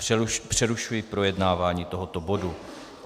Přerušuji projednávání tohoto bodu.